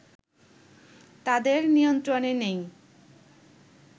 তাদের নিয়ন্ত্রনে নেই